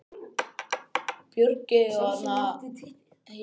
Sá er við aðra tíu.